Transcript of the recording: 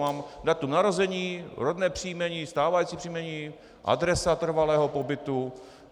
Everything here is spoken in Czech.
Mám datum narození, rodné příjmení, stávající příjmení, adresa trvalého pobytu.